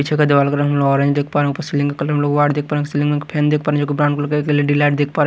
पीछे का दीवाल ऑरेंज कलर